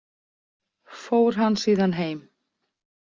Fór hann síðan heim.